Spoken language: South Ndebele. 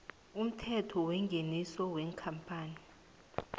umthelo wengeniso wekampani